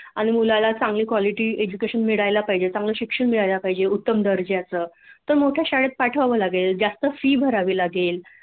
आणि मुलाला चांगली कॉलिटी एज्यूकेशन मिळायला पाहिजे चांगल शिक्षण मिळायला पाहिजे उत्तम दर्जाच तर मोठ्या शाळेत पाठवाव लागेल जास्त फि भरावी लागेल